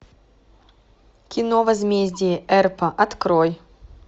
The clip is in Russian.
кино возмездие эрпа открой